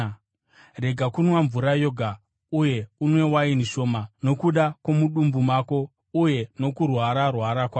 Rega kunwa mvura yoga, uye unwe waini shoma nokuda kwomudumbu mako uye nokurwara-rwara kwako.